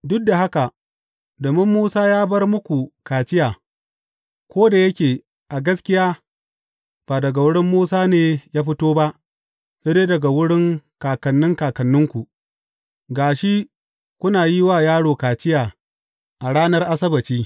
Duk da haka, domin Musa ya bar muku kaciya ko da yake a gaskiya, ba daga wurin Musa ne ya fito ba, sai dai daga wurin kakannin kakanninku, ga shi kuna yin wa yaro kaciya a ranar Asabbaci.